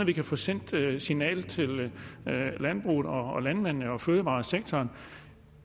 vi kan få sendt dette signal til landbruget og landmændene og fødevaresektoren